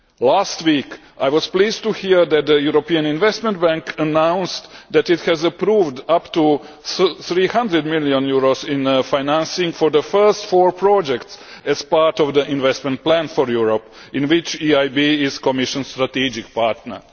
Last week, I was pleased to hear that the European Investment Bank announced that it has approved up to EUR 300 million in financing for the first four projects as part of the Investment Plan for Europe, in which the EIB is the Commission's strategic partner.